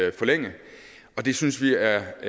at forlænge og det synes vi er